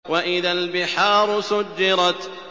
وَإِذَا الْبِحَارُ سُجِّرَتْ